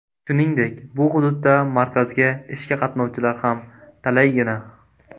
Shuningdek, bu hududda markazga ishga qatnovchilar ham talaygina.